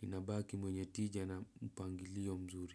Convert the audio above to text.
ninabaki mwenye tija na mpangilio mzuri.